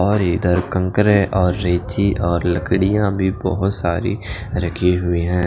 और इधर ककरे और रेती और लकडिया भी बहोत सारी रखी हुई हैं।